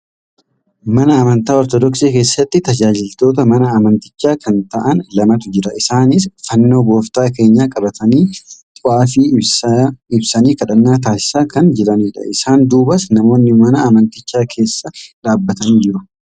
Mana amantaa ortoodoksii keessatti tajaajiltoota mana amantichaa kan ta'an lamatu jira. Isaanis fannoo gooftaa keenyaa qabatanii xwaafii ibsanii kadhannaa taasisaa kan jiranidha. Isaan duubas namoonni mana amanticha keessa dhaabbatanii jiru.